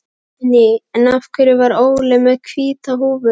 Guðný: En af hverju var Óli með hvíta húfu?